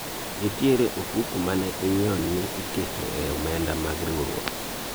nitiere ofuku mane inyiewo ni iketo e omenda mag riwruok